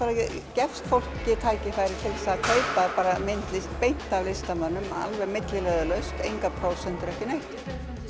gefst fólki tækifæri til að kaupa myndlist beint af listamönnum milliliðalaust engar prósentur og ekki neitt